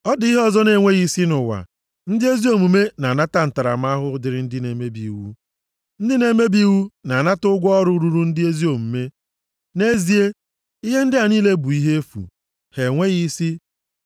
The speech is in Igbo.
Ọ dị ihe ọzọ na-enweghị isi nʼụwa: ndị ezi omume na-anata ntaramahụhụ dịrị ndị na-emebi iwu. Ndị na-emebi iwu na-anata ụgwọ ọrụ ruru ndị ezi omume. Nʼezie, ihe ndị a niile bụ ihe efu, ha enweghị isi.